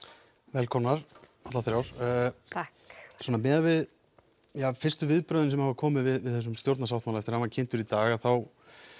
velkomnar allar þrjár takk svona miðað við fyrstu viðbrögðin sem hafa komið við þessum stjórnarsáttmála eftir að hann var kynntur í dag þá